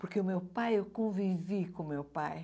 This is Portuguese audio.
Porque o meu pai, eu convivi com o meu pai.